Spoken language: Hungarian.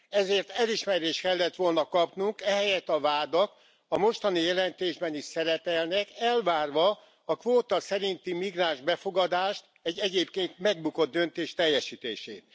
Ezért elismerést kellett volna kapnunk, ehelyett a vádak a mostani jelentésben is szerepelnek, elvárva a kvóta szerinti migráns befogadást, egy egyébként megbukott döntés teljesítését.